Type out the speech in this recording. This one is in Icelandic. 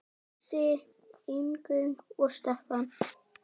Bjössi, Ingunn og Stefán.